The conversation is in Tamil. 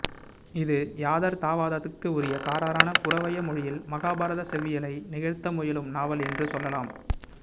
இது யதார்த்தவாதத்துக்கு உரிய கறாரான புறவய மொழியில் மகாபாரதச் செவ்வியலை நிகழ்த்தமுயலும் நாவல் என்று சொல்லலாம்